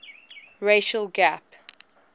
racial gap